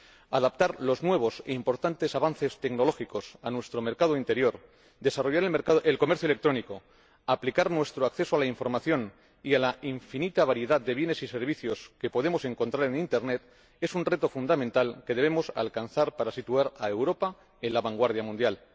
Adaptar los nuevos e importantes avances tecnológicos a nuestro mercado interior, desarrollar el comercio electrónico, garantizar nuestro acceso a la información y a la infinita variedad de bienes y servicios que podemos encontrar en Internet es un reto fundamental que debemos alcanzar para situar a Europa en la vanguardia mundial.